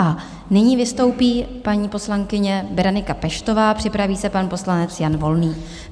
A nyní vystoupí paní poslankyně Berenika Peštová, připraví se pan poslanec Jan Volný.